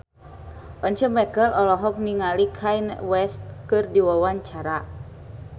Once Mekel olohok ningali Kanye West keur diwawancara